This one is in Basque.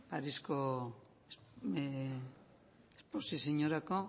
parisko esposiziorako